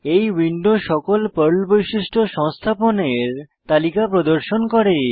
এই উইন্ডো সকল পর্ল বৈশিষ্ট্য সংস্থাপনের তালিকা প্রদর্শন করে